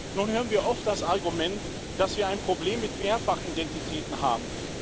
Nun hören wir oft das Argument, dass wir ein Problem mit Mehrfachidentitäten haben.